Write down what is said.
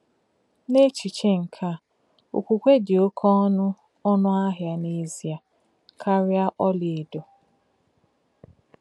N’echiche nke a, okwukwe dị oké ọnụ ọnụ ahịa n’ezie karịa ọlaedo.